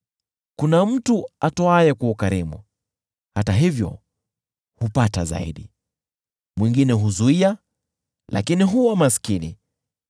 Kuna mtu atoaye kwa ukarimu, hata hivyo hupata zaidi, mwingine huzuia, lakini huwa maskini.